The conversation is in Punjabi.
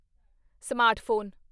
ਸਮਾਰਟਫ਼ੋਨ